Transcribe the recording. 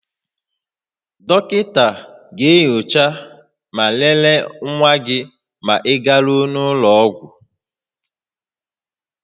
Dọkịta ga-enyocha ma lelee nwa gị ma ị garuo ụlọ ọgwụ